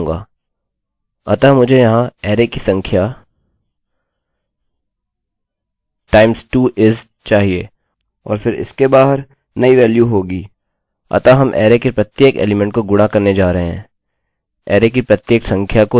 अतः मुझे यहाँ अरैarray की संख्या times 2 is चाहिए और फिर इसके बाहर नई वेल्यू होगी अतः हम अरैarray के प्रत्येक एलीमेंट को गुणा करने जा रहे हैं अरैarray की प्रत्येक संख्या को 2 से